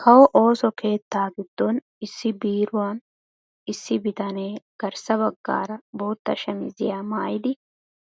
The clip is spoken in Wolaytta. Kawo ooso keettaa giddon issi biiruwan issi bitanee garssa baggaara bootta shamisiya maayidi